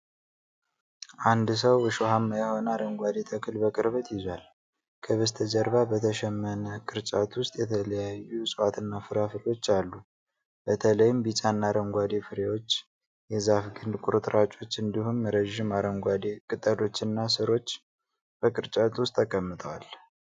አንድ ሰው እሾሃማ የሆነ አረንጓዴ ተክል በቅርበት ይዟል። ከበስተጀርባ በተሸመነ ቅርጫት ውስጥ የተለያዩ ዕፅዋት እና ፍራፍሬዎች አሉ። በተለይም ቢጫ እና አረንጓዴ ፍሬዎች፣ የዛፍ ግንድ ቁርጥራጮች፣ እንዲሁም ረዥም አረንጓዴ ቅጠሎችና ሥሮች በቅርጫቱ ውስጥ ተቀምጠዋል።